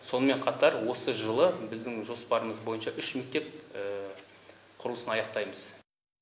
сонымен қатар осы жылы біздің жоспарымыз бойынша үш мектеп құрылысын аяқтаймыз